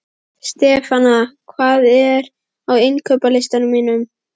Stefana, hvað er á innkaupalistanum mínum?